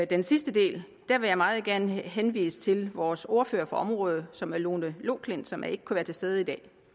den sidste del vil jeg meget gerne henvise til vores ordfører på området som er fru lone loklindt som ikke kunne være til stede i dag